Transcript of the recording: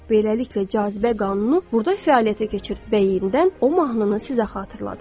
Beləliklə cazibə qanunu burda fəaliyyətə keçir və yenidən o mahnını sizə xatırladır.